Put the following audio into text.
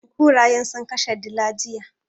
Kurayen sun kashe dilan, jiya.